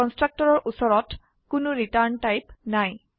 কনস্ট্ৰাক্টৰৰ ওচৰত কোনো return type নাই